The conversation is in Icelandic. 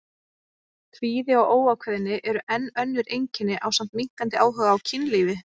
Kvíði og óákveðni eru enn önnur einkenni ásamt minnkandi áhuga á kynlífi.